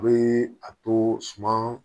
A bɛ a to suma